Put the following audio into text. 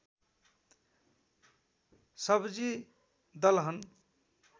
सब्जि दलहन